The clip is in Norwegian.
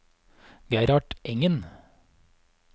Gerhard Engen